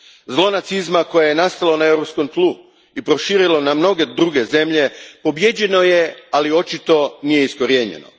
Zlo nacizma koje je nastalo na europskom tlu i proširilo na mnoge druge zemlje pobijeđeno je, ali očito nije iskorijenjeno.